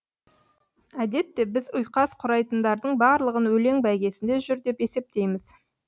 әдетте біз ұйқас құрайтындардың барлығын өлең бәйгесінде жүр деп есептейміз